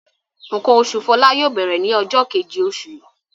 Nǹkan oṣù Fọlá yóò bẹ̀rẹ̀ ní ọjọ́ kejì oṣù yìí.